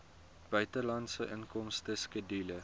buitelandse inkomste skedule